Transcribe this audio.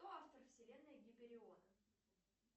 кто автор вселенной гипериона